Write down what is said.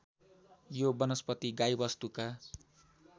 यो वनस्पति गाईवस्तुका